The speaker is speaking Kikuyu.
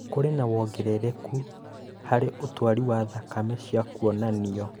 Kũrĩ na wongerereku harĩ ũtwari wa thakame. cia kũonanio